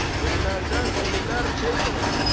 Ölülərdən ölülər feyz alacaq.